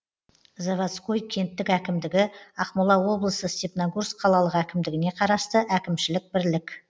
заводской кенттік әкімдігі ақмола облысы степногорск қалалық әкімдігіне қарасты әкімшілік бірлік